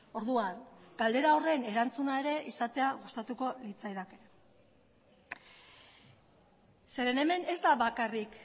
orduan galdera horren erantzuna ere izatea gustatuko litzaidake zeren hemen ez da bakarrik